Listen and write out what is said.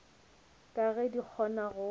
ka ge di kgona go